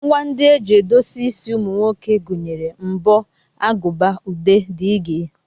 Ngwa ndị e ji edozi isi ụmụ nwoke gụnyere mbọ, aguba, ude, dg.